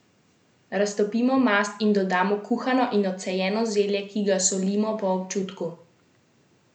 Raztopimo mast, in dodamo kuhano in odcejeno zelje, ki ga solimo po občutku.